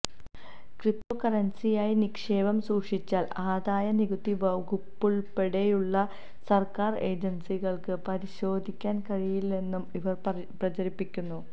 ക്രിപ്റ്റോകറൻസിയായി നിേക്ഷപം സൂക്ഷിച്ചാൽ ആദായനികുതി വകുപ്പുൾപ്പെടെയുള്ള സർക്കാർ ഏജൻസികൾക്ക് പരിശോധിക്കാൻ കഴിയില്ലെന്നും ഇവർ പ്രചരിപ്പിക്കുന്നു